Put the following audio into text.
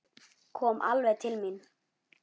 Kom alveg til mín.